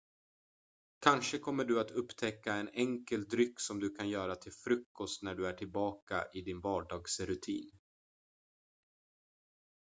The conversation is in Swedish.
kanske kommer du att upptäcka en enkel dryck som du kan göra till frukost när du är tillbaka i din vardagsrutin